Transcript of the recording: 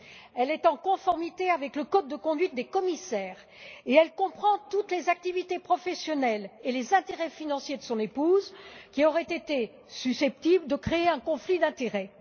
Elle est en conformité avec le code de conduite des commissaires et comprend toutes les activités professionnelles et les intérêts financiers de son épouse qui auraient été susceptibles de créer un conflit d'intérêts.